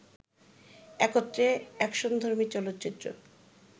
একত্রে অ্যাকশনধর্মী চলচ্চিত্র